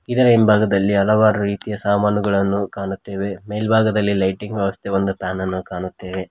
ಇದರ ಹಿಂಭಾಗದಲ್ಲಿ ಹಲವಾರು ರೀತಿಯ ಸಾಮಾನುಗಳನ್ನು ಕಾಣುತ್ತೇವೆ ಮೇಲ್ಭಾಗದಲ್ಲಿ ಲೈಟಿಂಗ್ ವ್ಯವಸ್ಥೆ ಒಂದು ಫ್ಯಾನ್ ಅನ್ನು ಕಾಣುತ್ತೇವೆ.